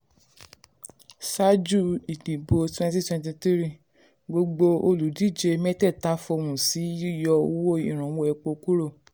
ṣáájú ìdìbò 2023 gbogbo olùdíje mẹ́tẹ̀ẹ̀ta fohùn sí yíyọ owó ìrànwọ́ epo kúrò.